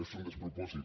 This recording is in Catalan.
és un despropòsit